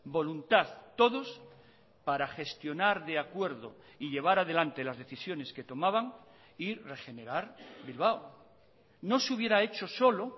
voluntad todos para gestionar de acuerdo y llevar adelante las decisiones que tomaban y regenerar bilbao no se hubiera hecho solo